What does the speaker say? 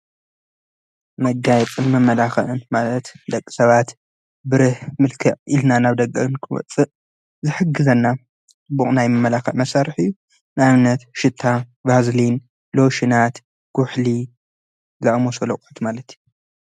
መጋይጽን መመላኽዕን ማለት ደቕ ሰባት ብርህ ምልከዕ ኢልና ናብ ደገ ክንወፅእ ዝሕግዘና ጽቡቕ ናይ መመላኽዕ መሣርሕ እዩ። ንይኣብነት ሽታ ባዝልን ሎሽናት ኹሕሊ ኮስሞቲክስ ማለት እዩ።